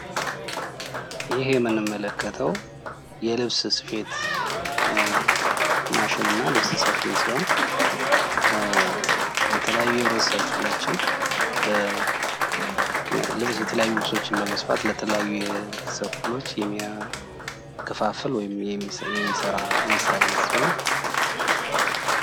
ይህ የምንመለከተው የልብስ ሰፊንና የልብስ ስፌት ማሽን ሲሆን የተለያዩ ልብሶችን ለህብረተሰቡ የሚሰራ የስራ አይነት ሲሆን ፤